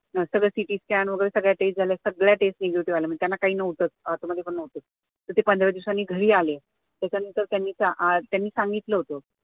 सगळं cityscan वगैरे सगळ्या test झाल्या सगळ्या test negative म्हणजे त्यांना काहीच नव्हतं, आत मध्ये पण नव्हतं तर ते पंधरा दिवसांनी घरी आले त्याच्यानंतर त्यांनी त्यांनी सांगितलं होत